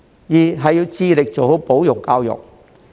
二是要致力做好保育教育。